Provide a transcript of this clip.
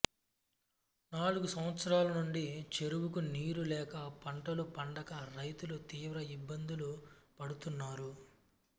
నాలుగు సంవత్సరాలనుండి చెరువుకు నీరు లేక పంటలు పండక రైతులు తీవ్ర ఇబ్బందులు పడుతున్నారు